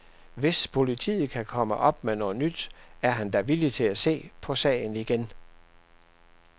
Hvis politiet kan komme op med noget nyt, er han da villig til at se på sagen igen.